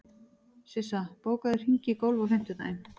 Sissa, bókaðu hring í golf á fimmtudaginn.